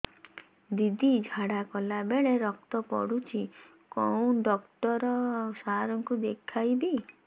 ଦିଦି ଝାଡ଼ା କଲା ବେଳେ ରକ୍ତ ପଡୁଛି କଉଁ ଡକ୍ଟର ସାର କୁ ଦଖାଇବି